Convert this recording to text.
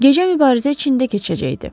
Gecə mübarizə içində keçəcəkdi.